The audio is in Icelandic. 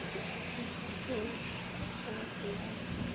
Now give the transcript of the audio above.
Hvert fór þá gleðin?